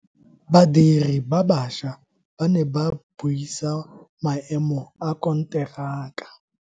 Badiri ba baša ba ne ba buisa maemo a konteraka.